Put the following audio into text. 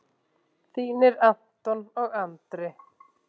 Þínir Anton og Andri.